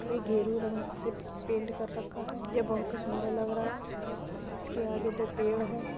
ये गेरू रंग से पेंट कर रखा है। ये बहुत ही सुन्दर लग रहा है इसके आगे दो पेड़ हैं।